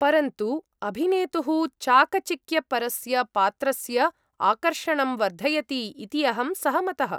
परन्तु अभिनेतुः चाकचिक्यपरस्य पात्रस्य आकर्षणं वर्धयति इति अहं सहमतः।